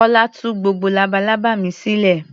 Kọ́lá tú gbogbo labalábá mi sílẹ̀.